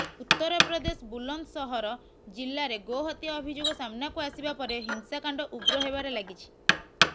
ଉତ୍ତରପ୍ରଦେଶ ବୁଲନ୍ଦ ସହର ଜିଲ୍ଲାରେ ଗୋହତ୍ୟା ଅଭିଯୋଗ ସାମ୍ନାକୁ ଆସିବା ପରେ ହିଂସାକାଣ୍ଡ ଉଗ୍ର ହେବାରେ ଲାଗିଛି